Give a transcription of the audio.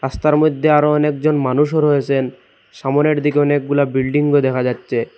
রাস্তার মধ্যে আরো অনেকজন মানুষও রয়েছেন সামোনের দিকে অনেকগুলা বিল্ডিংও দেখা যাচ্ছে।